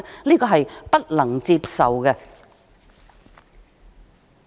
這是不能接受的。